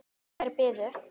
Þær biðu.